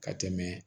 Ka tɛmɛ